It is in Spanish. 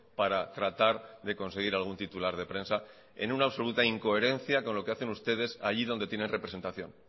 para tratar de conseguir algún titular de prensa en una absoluta incoherencia con lo que hacen ustedes allí donde tienen representación